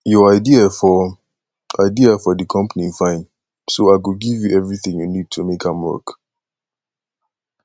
your idea for idea for the company fine so i go give you everything you need to make am work